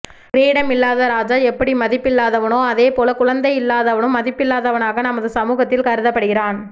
கிரீடம் இல்லாத ராஜா எப்படி மதிப்பில்லாதவனோ அதே போல குழந்தை இல்லாதவனும் மதிப்பில்லாதவனாக நமது சமூகத்தில் கருதப்படுகிறான்